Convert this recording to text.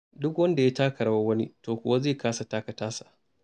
Duk wanda ya taka rawar wani, to kuwa zai kasa taka tasa.